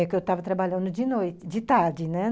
É que eu estava trabalhando de noite, de tarde, né?